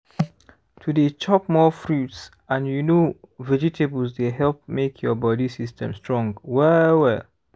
to dey chop more fruits and you know vegetables dey help make your body system strong well-well